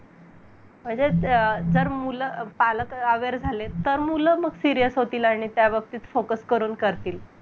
तर upsc MPSC चा experience न online सगळ available करून दिलेय सरकारने जेणेकरून घरात बसून अभ्यास चांगल्या रीतीने पार पाडावे पार पाडतील